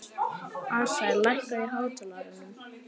Asael, lækkaðu í hátalaranum.